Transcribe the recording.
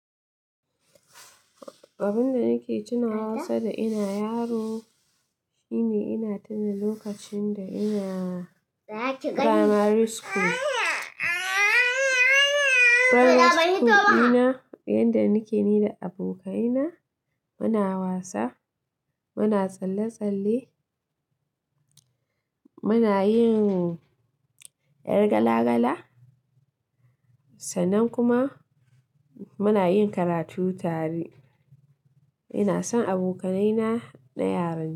Abin da nake tuna wa sada ina yaro shine ina tuna lokacin da ina primary school. Primary school ina yanda nake ni da abokaina muna wasa, muna tsalle tsalle, muna yin ƴar gala gala sannan kuma muna yin karatu tare. Ina son abokaina na yaran jiya.